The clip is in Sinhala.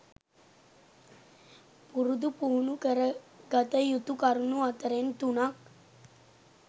පුරුදු පුහුණු කරගත යුතු කරුණු අතරෙන් තුනක්